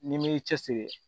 N'i m'i cɛsiri